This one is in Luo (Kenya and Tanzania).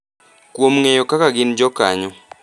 kuom ng’eyo kaka gin jokanyo,